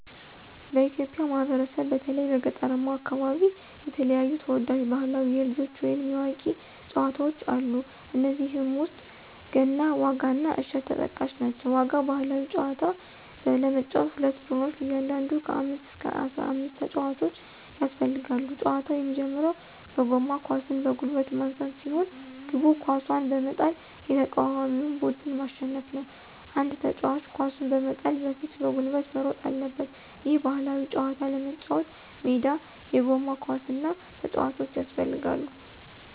በኢትዮጵያ ማህበረሰብ በተለይም በገጠራማው አከባቢ የተለያዩ ተወዳጅ ባህላዊ የልጆች ወይንም የአዋቂዎች ጨዋታወች አሉ። ከነዚህም ውስጥ ገና፣ ዋጋ እና እሸት ተጠቃሽ ናቸው። ዋጋ ባህላዊ ጨዋታ ለመጫወት ሁለት ቡድኖች እያንዳንዱ ከ አምስት እስከ አስራአምስት ተጫዋቾች ያስፈልጋሉ። ጨዋታው የሚጀምረው በጎማ ኳስን በጉልበት ማንሳት ሲሆን፤ ግቡ ኳሱን በመጣል የተቃዋሚውን ቡድን ማሸነፍ ነው። አንድ ተጫዋች ኳሱን በመጣል በፊት በጉልበት መሮጥ አለበት። ይህን ባህላዊ ጨዋታ ለመጫወት ሜዳ፣ የጎማ ኳስ እና ተጫዋቾች ያስፈልጋሉ።